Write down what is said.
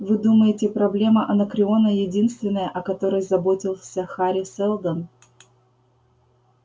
вы думаете проблема анакреона единственная о которой заботился хари сэлдон